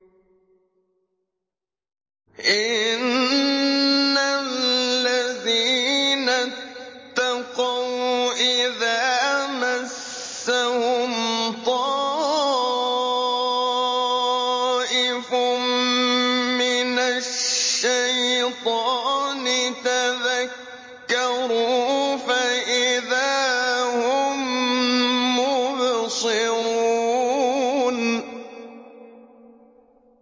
إِنَّ الَّذِينَ اتَّقَوْا إِذَا مَسَّهُمْ طَائِفٌ مِّنَ الشَّيْطَانِ تَذَكَّرُوا فَإِذَا هُم مُّبْصِرُونَ